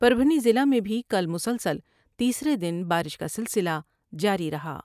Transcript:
پر بھنی ضلع میں بھی کل مسلسل تیسرے دن بارش کا سلسلہ جاری رہا ۔